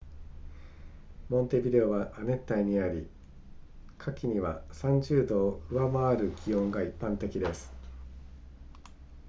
モンテビデオは亜熱帯にあり、夏季には 30℃ を上回る気温が一般的です